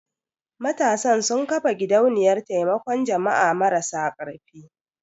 Matasan sun ƙafa gidauniyar taimakon jama'a marasa karfi.